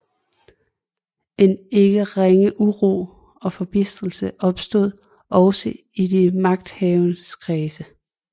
En ikke ringe uro og forbitrelse opstod også i de magthavendes kreds